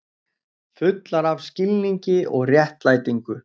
Fullar af skilningi og réttlætingu.